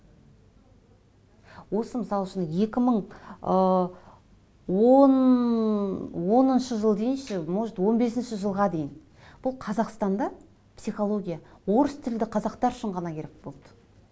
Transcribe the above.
осы мысал үшін екі мың ы он оныншы жыл дейінші может он бесінші жылға дейін бұл қазақстанда психология орыс тілді қазақтар үшін ғана керек болды